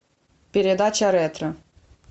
передача ретро